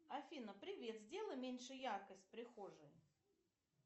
афина привет сделай меньше яркость в прихожей